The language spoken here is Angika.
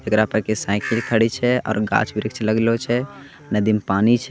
इकरा पे साइकिल खड़ी छे ओर घाच वृक्ष लगलो छे नदी मे पानी छे।